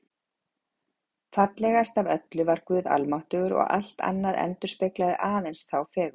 Fallegast af öllu var Guð almáttugur og allt annað endurspeglaði aðeins þá fegurð.